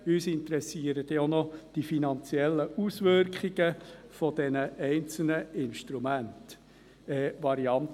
Uns interessieren auch noch die finanziellen Auswirkungen der einzelnen Varianten.